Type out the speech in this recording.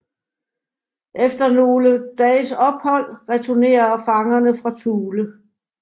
Efter nogle dages ophold returnerer fangerne fra Thule